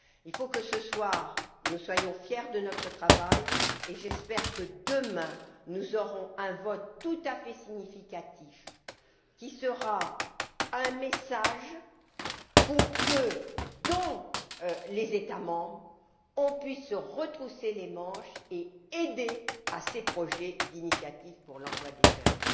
Il faut que, ce soir, nous soyons fiers de notre travail et j'espère que, demain, nous aurons un vote tout à fait significatif qui sera un message pour que, dans les États membres, on puisse se retrousser les manches et aider à ces projets de l'initiative pour l'emploi des jeunes.